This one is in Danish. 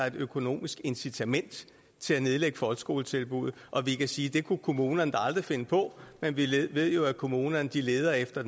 et økonomisk incitament til at nedlægge folkeskoletilbuddet og vi kan sige at det kunne kommunerne da aldrig finde på men vi ved jo at kommunerne leder efter